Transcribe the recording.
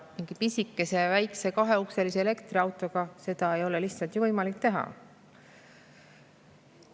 Mingi pisikese kaheukselise elektriautoga seda ei ole lihtsalt võimalik teha.